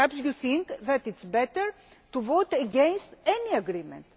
do? Perhaps you think that it is better to vote against any agreement.